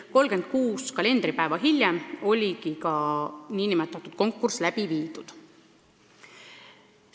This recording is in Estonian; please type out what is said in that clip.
36 kalendripäeva hiljem oligi ka nn konkurss läbi viidud!